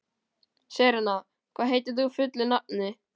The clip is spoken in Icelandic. Serena, hvað heitir þú fullu nafni?